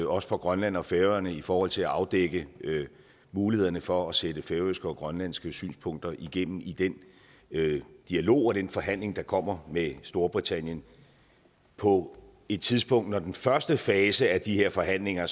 også grønland og færøerne i forhold til at afdække mulighederne for at sætte færøske og grønlandske synspunkter igennem i den dialog og den forhandling der kommer med storbritannien på et tidspunkt når den første fase af de her forhandlinger